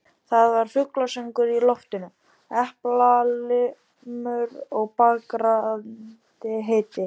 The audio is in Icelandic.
Það var fuglasöngur í loftinu, eplailmur og brakandi hiti.